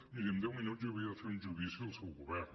miri en deu minuts jo havia de fer un judici al seu govern